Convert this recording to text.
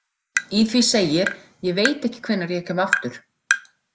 Í því segir: Ég veit ekki hvenær ég kem aftur.